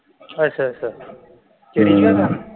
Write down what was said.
ਅੱਛਾ ਅੱਛਾ